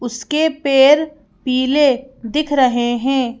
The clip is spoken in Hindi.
उसके पेर पीले दिख रहे हैं।